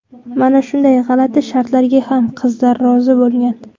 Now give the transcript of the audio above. Mana shunday g‘alati shartlarga ham qizlar rozi bo‘lgan.